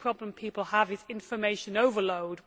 The problem people have is information overload.